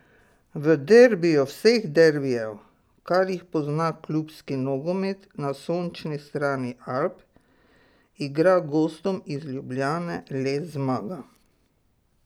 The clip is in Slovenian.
V derbiju vseh derbijev, kar jih pozna klubski nogomet na sončni strani Alp, igra gostom iz Ljubljane le zmaga.